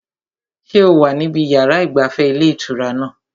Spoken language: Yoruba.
Ṣé o wà níbi yàrá ìgbafẹ́ ilé ìtura náà?